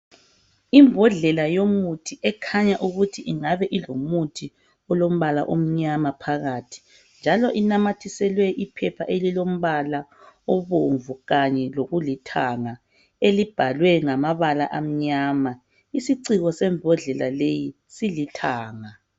Imbodlela yomuthi ekhanya ukuthi ingabe ilomuthi olombala omnyama phakathi njalo inamathiselwe iphepha elilombala obomvu kanye lokulithanga elibhalwe ngamabala amnyama isiciko sembodlela leyi silithanga.